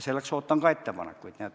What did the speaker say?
Selleks ootan ka ettepanekuid.